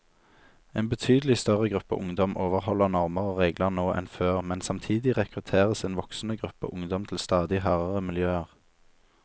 En betydelig større gruppe ungdom overholder normer og regler nå enn før, men samtidig rekrutteres en voksende gruppe ungdom til stadig hardere miljøer.